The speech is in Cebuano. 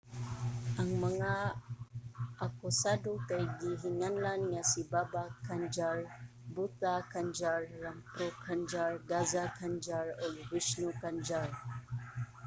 ang mga akusado kay gihinganlan nga si baba kanjar bhutha kanjar rampro kanjar gaza kanjar ug vishnu kanjar